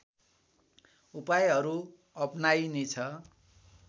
उपायहरू अपनाइनेछ